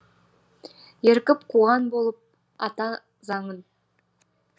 ерігіп қуған болып ата заңын